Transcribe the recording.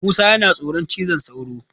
Musa yana tsoron cizon sauro.